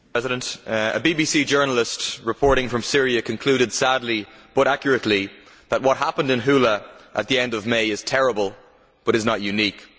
Mr President, a BBC journalist reporting from Syria concluded sadly, but accurately, that what happened in Houla at the end of May is terrible but is not unique.